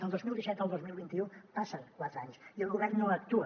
del dos mil disset al dos mil vint u passen quatre anys i el govern no actua